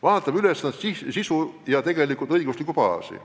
Vaatame ülesannete sisu ja õiguslikku baasi.